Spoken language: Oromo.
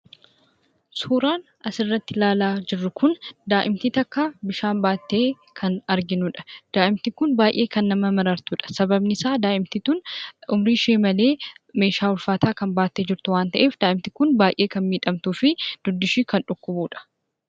Suuraan asirratti ilaalaa jirru kun daa'imni tokko bishaan baattee kan arginuudha. Daa'imni kun kan baay'ee nama marartuudha. Sababni isaa daa'imti kun umrii ishee malee meeshaa ulfaataa baattee kan jirtu waan ta'eef baay'ee kan miidhamtuu fi dugdi ishee kan miidhamuudha.